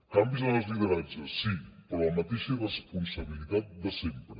canvis en els lideratges sí però la mateixa irresponsabilitat de sempre